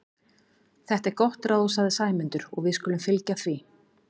Þetta er gott ráð sagði Sæmundur, og við skulum fylgja því.